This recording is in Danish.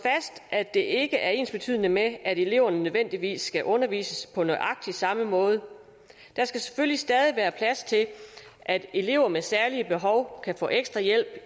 at det ikke er ensbetydende med at eleverne nødvendigvis skal undervises på nøjagtig samme måde der skal selvfølgelig stadig være plads til at elever med særlige behov kan få ekstra hjælp